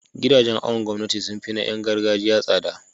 gidajen awon gomnati sunfi na Yan gargajiya tsada